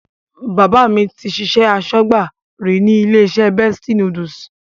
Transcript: Bàbá mi ti ṣiṣẹ́ aṣọ́gbà rí ní ilé-iṣẹ́ Bestie Noodles.